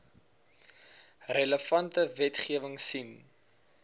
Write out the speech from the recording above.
relevante wetgewing sien